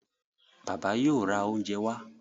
Bàbá yóò rá oúnjẹ wá.